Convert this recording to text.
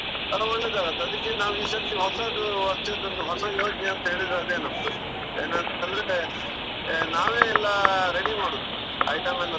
ಅದ್ ಒಳ್ಳೇದಾಗುತ್ತೆ, ಅದಿಕ್ಕೆ ನಾವು ಈಸರ್ತಿ ಹೊಸದು ಅನ್ಸಿದನ್ನು ಹೊಸ ಯೋಜನೆ ಅಂತೇಳಿದ್ರೆ ಅದೆ ನಮ್ದು. ಏನಂತಂದ್ರೆ ಆ ನಾವೇ ಎಲ್ಲಾ ready ಮಾಡುದು, item ಎಲ್ಲ.